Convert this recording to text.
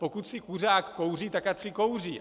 Pokud si kuřák kouří, tak ať si kouří.